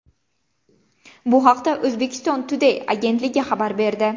Bu haqda Uzbekistan Today agentligi xabar berdi .